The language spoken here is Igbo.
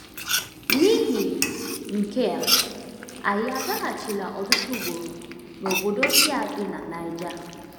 N’ihi nke a, anyị agaghachila ọtụtụ ugboro n’obodo ndị a dị na Niger.